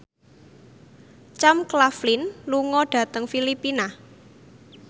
Sam Claflin lunga dhateng Filipina